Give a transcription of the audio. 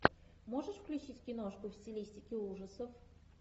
можешь включить киношку в стилистике ужасов